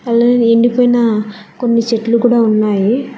అలాగే ఎండిపోయిన కొన్ని చెట్లు కూడా ఉన్నావి.